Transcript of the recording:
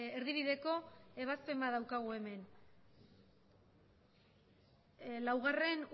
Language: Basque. erdi bideko ebazpen bat daukagu hemen lau